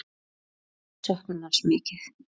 Við söknum hans mikið.